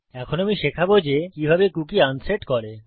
এখন আমি শেখাবো যে কিভাবে কুকী আনসেট করে